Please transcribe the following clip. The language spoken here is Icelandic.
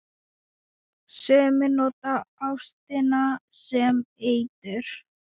Sumir nota ástina sem eitur.